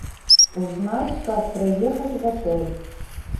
узнать как проехать в отель